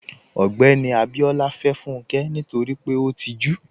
Ogbẹ́ni Abíọlá fẹ́ Fúnkẹ́ nítorí pé ó tìjú.